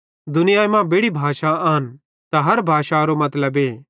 दुनियाई मां बेड़ी भाषा आन त हर भाषारो मतलबे